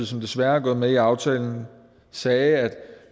som desværre er gået med i aftalen sagde at